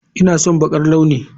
Ina son baƙar launi